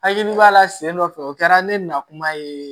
Hakili b'a la sen dɔ fɛ o kɛra ne na kuma ye